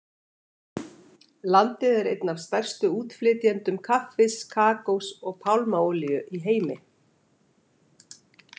Landið er einn af stærstu útflytjendum kaffis, kakós og pálmaolíu í heimi.